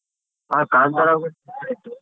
ಆ ಕಾಂತಾರ .